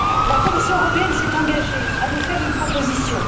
La Commission européenne s'est engagée à nous faire une proposition.